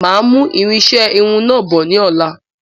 Máa mú irinṣẹ Irun náà bọ̀ ní ọ̀la